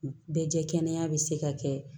Bɛɛ jɛ kɛnɛ bɛ se ka kɛ